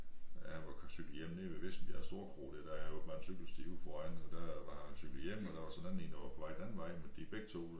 At han var cyklet hjem nede ved Vissenbjerg storkro dér der er åbenbart en cykelsti ude foran og der var han cyklet hjem og der var så en anden én der var på vej den anden vej men de begge 2